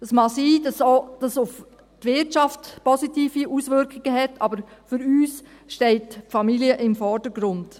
Es mag sein, dass sie auch positive Auswirkungen auf die Wirtschaft hat, aber für uns steht die Familie im Vordergrund.